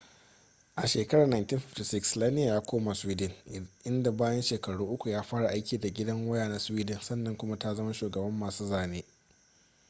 a shekarar 1956 slania ya koma sweden inda bayan shekaru uku ya fara aiki da gidan waya na sweden sannan kuma ta zama shugaban masu zane